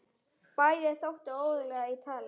Bæði þóttu óguðleg í tali.